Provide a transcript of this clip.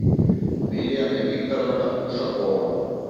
милена викторовна ушакова